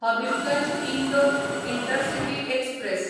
Habibganj Indore intercity express